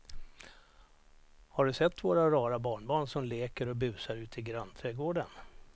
Har du sett våra rara barnbarn som leker och busar ute i grannträdgården!